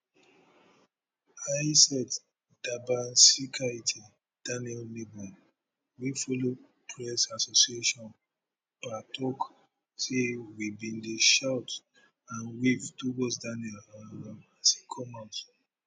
aiste dabasinskaite daniel neighbour wey follow press association pa tok say we bin dey shout and wave towards daniel um as e come out